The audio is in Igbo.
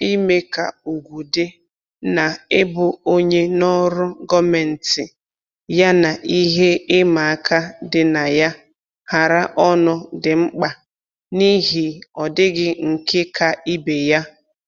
Ime ka ugwu dị na-ịbụ onye n'ọrụ gọọmentị yana ihe ịma aka dị na ya hara ọnụ dị mkpa n'ihi ọdịghị nke ka ibe ya